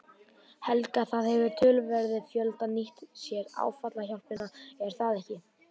Helga: Það hefur töluverður fjöldi nýtt sér áfallahjálpina er það ekki?